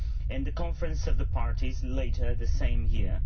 and the Conference of the Parties later the same year.